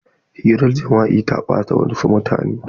Hirar jima'i ta ɓata wasu mutane.